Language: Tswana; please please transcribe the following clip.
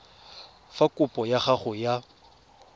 fa kopo ya gago ya